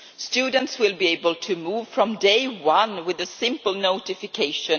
Students will be able to move from day one with a simple notification.